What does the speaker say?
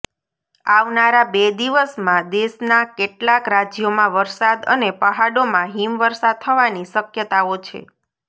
આવનારા બે દિવસમાં દેશના કેટલાક રાજ્યોમાં વરસાદ અને પહાડોમાં હિમ વર્ષા થવાની શક્યતાઓ છે